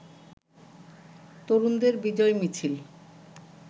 তরুণদের বিজয় মিছিল